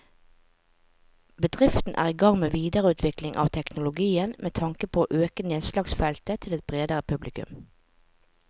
Bedriften er i gang med videreutvikling av teknologien med tanke på å øke nedslagsfeltet til et bredere publikum.